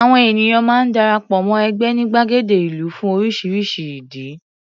Àwọn ènìyàn máa ń dara pọ̀ mọ́ ẹgbẹ́ ní gbàgede ìlú fún oríṣiríṣi ìdí.